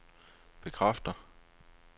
bekræfter